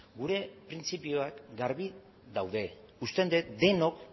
gure printzipioak garbi daude uste dut denok